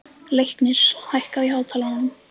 Leiknir, hækkaðu í hátalaranum.